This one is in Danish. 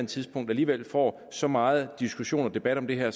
tidspunkt alligevel får så meget diskussion og debat om det her